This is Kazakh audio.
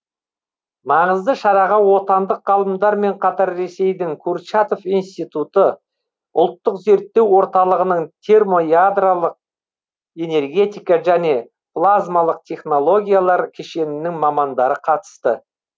маңызды шараға отандық ғалымдармен қатар ресейдің курчатов институты ұлттық зерттеу орталығының термоядролық энергетика және плазмалық технологиялар кешенінің мамандары қатысты